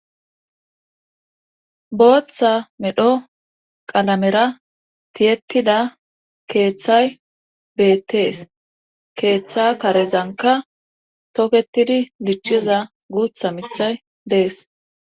Booththa medho qalamera tiyettida keeththay beettees keeththa karezanka tookettidi diicciza guutha miththay dees